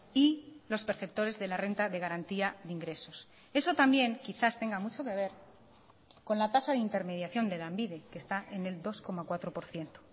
y los perceptores de la renta de garantía de ingresos eso también quizás tenga mucho que ver con la tasa de intermediación de lanbide que está en el dos coma cuatro por ciento